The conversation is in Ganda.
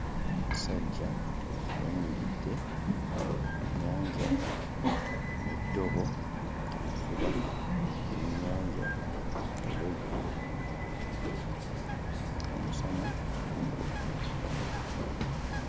Omusajja ayimiridde ku nnyanja n'eddobo avuba byennyanja olweggulo ng'omusana gugwa.